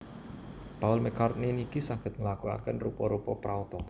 Paul McCartney niki saget nglakuaken rupa rupa praoto